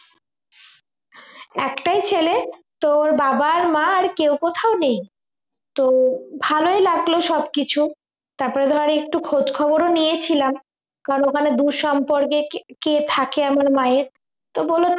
একটাই ছেলে তোর বাবা আর মা আর কেউ কোথাও নেই তো ভালোই লাগল সবকিছু তারপর ধর একটু খোঁজ খবরও নিয়েছিলাম কারণ ওখানে দুঃসম্পর্কের কে~ কে থাকে আমার মায়ের তো বলল